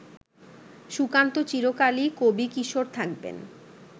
সুকান্ত চিরকালই কবিকিশোর থাকবেন